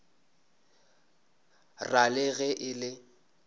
ra le ge e le